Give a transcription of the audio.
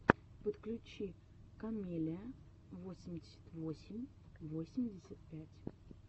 подключи камеллиа восемьдесят восемь восемьдесят пять